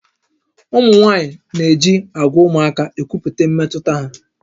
Ụmụ nwaanyị na-eji àgwà ụmụaka ekwupụta mmetụta ha